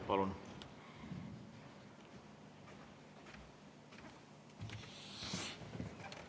Palun!